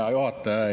Hea juhataja!